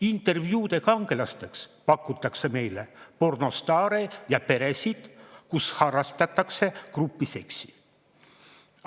Intervjuude kangelastena pakutakse meile pornostaare ja peresid, kus harrastatakse grupiseksi.